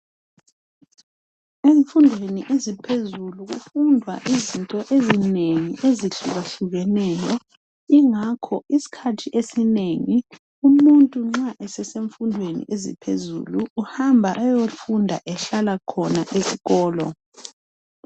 Efundweni eziphezulu kufundwa izinto ezinengi ezihlukehlukeneyo ingakho iskhathi esinengi umuntu nxa esesenfundweni eziphezulu uhamba ayofunda ehlala khona eskolo.